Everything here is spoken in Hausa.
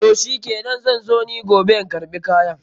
Toh shikenan, zan zo ni giobe na karɓi kayan.